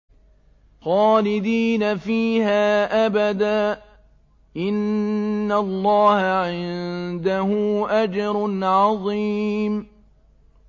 خَالِدِينَ فِيهَا أَبَدًا ۚ إِنَّ اللَّهَ عِندَهُ أَجْرٌ عَظِيمٌ